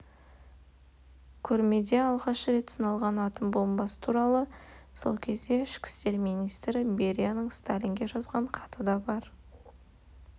көрмеде жылы алғаш рет сыналған атом бомбасы туралы сол кездегі ішкі істер министрі берияның сталинге жазған хаты да бар